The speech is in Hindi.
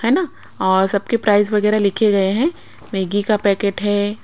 है ना और सबके प्राइस वगैरह लिखे गए हैं मैगी का पैकेट है।